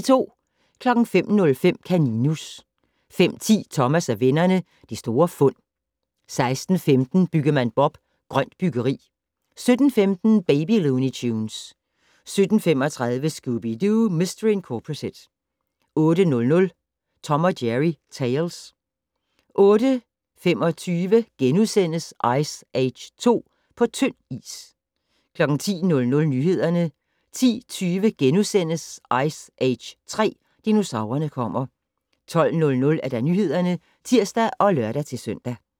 05:05: Kaninus 05:10: Thomas og vennerne: Det store fund 06:15: Byggemand Bob: Grønt byggeri 07:15: Baby Looney Tunes 07:35: Scooby-Doo! Mistery Incorporated 08:00: Tom & Jerry Tales 08:25: Ice Age 2: På tynd is * 10:00: Nyhederne 10:20: Ice Age 3 - Dinosaurerne kommer * 12:00: Nyhederne (tir og lør-søn)